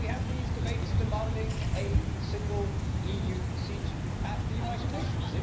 Then we have these debates demanding a single EU seat at the United Nations.